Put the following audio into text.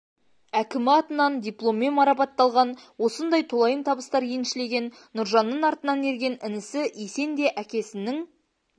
әкімі атынан дипломмен марапатталған осындай толайым табыстар еншілеген нұржанның артынан ерген інісі есен де әкесінің